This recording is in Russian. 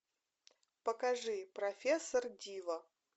покажи профессор дива